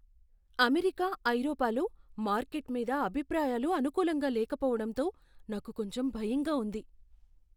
America, ఐరోపాలో market మీద అభిప్రాయాలు అనుకూలంగా లేకపోవటంతో నాకు కొంచెం భయంగా ఉంది.